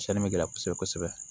Cɛnni bɛ gɛlɛya kosɛbɛ kosɛbɛ